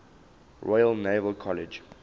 royal naval college